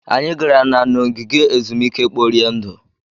Anyị gara na n'ogige ezumike kporie ndụ.